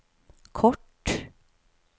kort